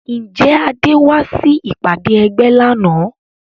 Ǹjẹ́ Adé wá sí ìpàdé ẹgbẹ́ lánàá